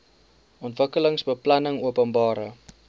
ontwikkelingsbeplanningopenbare